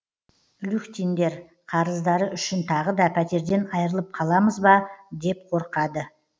люхтиндер қарыздары үшін тағы да пәтерден айырылып қаламыз ба деп қорқады